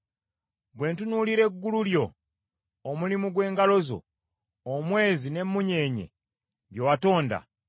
Bwe ntunuulira eggulu lyo, omulimu gw’engalo zo, omwezi n’emmunyeenye bye watonda;